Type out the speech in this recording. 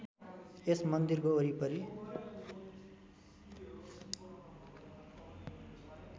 यस मन्दिरको वरिपरी